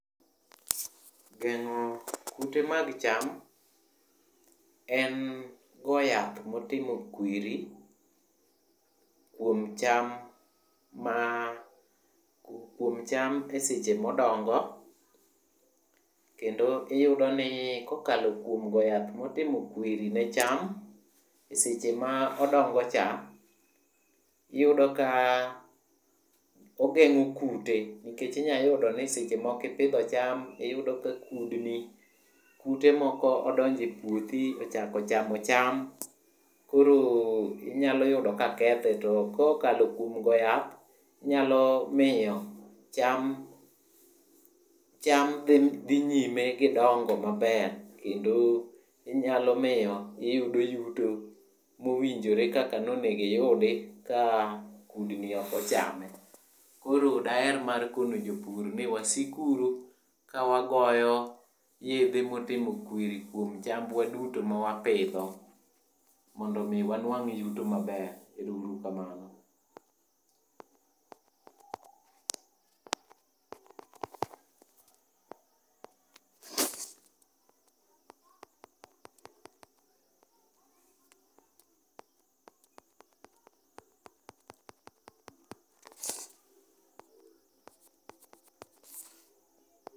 Geng'o kute mag cham en go yath motimo kwiri kuom cham ma, kuom cham seche madongo kendo iyudo ni kokalo kuom go yath motimo kwiri ne cham e seche ma odongocha, iyudo ka ogeng'o kute nikech inya yudo ni seche moko ipidho cham iyudo ka kudni, kute moko odonjo e puothi ochako chamo cham. Koro inyalo yudo ka kethe, to kokalo kuom goyo yath, inyalo miyo cham ,cham dhi nyime gi dongo maber kendo niyalo miyo iyudo yuto mowinjore kaka nonego iyudi ka kudni ok ochame. Koro daher mar kono jopur ni wasik uru ka wagoyo yedhe motimo kwiri kuom chambwa duto ma wapidho mondo omi wan wang' yuto maber. Ero uru kamano.